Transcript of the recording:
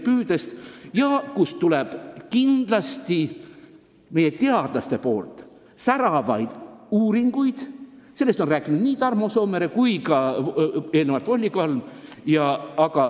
Sellel teemal teevad meie teadlased kindlasti säravaid uuringuid – sellest on rääkinud nii Tarmo Soomere kui ka Volli Kalm.